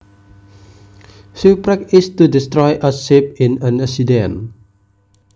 Shipwreck is to destroy a ship in an accident